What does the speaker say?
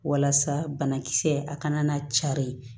Walasa banakisɛ a kana na cari